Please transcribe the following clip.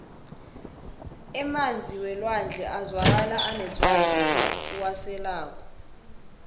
emanzi welwandle azwakala anetswayi lokha uwaselako